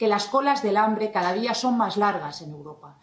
que las colas del hambre cada día son más largas en Europa.